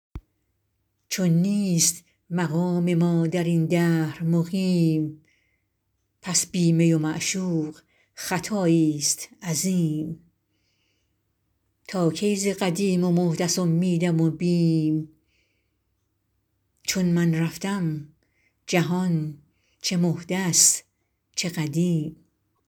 چون نیست مقام ما در این دهر مقیم پس بی می و معشوق خطاییست عظیم تا کی ز قدیم و محدث امیدم و بیم چون من رفتم جهان چه محدث چه قدیم